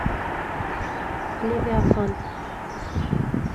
левиафан